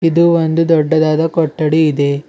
ಇದು ಒಂದು ದೊಡ್ಡದಾದ ಕೊಠಡಿ ಇದೆ.